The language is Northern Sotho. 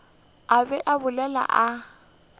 a be a bolela a